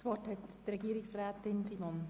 Das Wort hat Frau Regierungsrätin Simon.